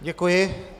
Děkuji.